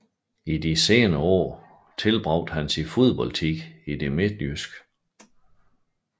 I de senere år tilbragte han sin fodboldtid i det midtjyske